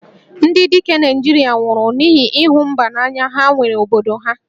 Ndị dike Naịjirịa nwụrụ n'ihi ịhụ mba n'anya ha nwere obodo ha